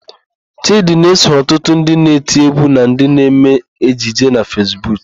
Chịdị na-eso ọtụtụ ndị na-eti égwú na ndị na-eme ejije na Fesbuk.